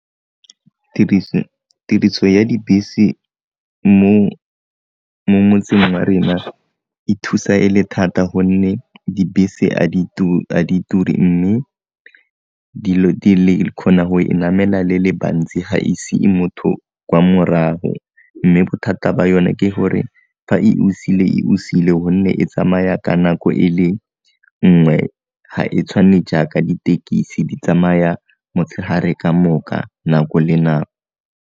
Tiriso ya dibese mo motseng wa rena e thusa e le thata gonne dibese a di ture mme dilo di le kgona go e namela le le bantsi ga e sie motho kwa morago, mme bothata ba yone ke gore fa e o siile e o siile gonne e tsamaya ka nako e le nngwe, ga e tshwane jaaka ditekisi di tsamaya motshegare kamoka nako le nako.